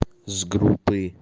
с группы